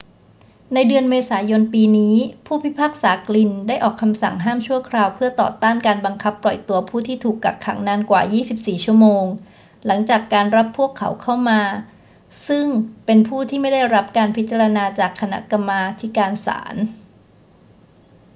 ในเดือนเมษายนปีนี้ ผู้พิพากษากลินน์ได้ออกคำสั่งห้ามชั่วคราวเพื่อต่อต้านการบังคับปล่อยตัวผู้ที่ถูกกักขังนานกว่า 24 ชั่วโมงหลังจากการรับพวกเขาเข้ามาซึ่งเป็นผู้ที่ไม่ได้รับการพิจารณาจากคณะกรรมาธิการศาล